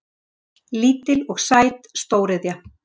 Lítil og sæt stóriðja